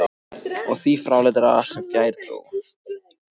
Og því fráleitara sem fjær dró.